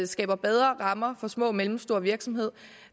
skaber bedre rammer for små og mellemstore virksomheder og